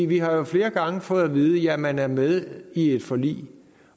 vi har jo flere gange fået at vide at man er med i et forlig